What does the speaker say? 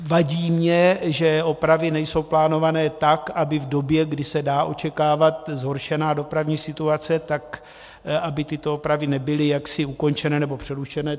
Vadí mi, že opravy nejsou plánované tak, aby v době, kdy se dá očekávat zhoršená dopravní situace, tak aby tyto opravy nebyly jaksi ukončené, nebo přerušené.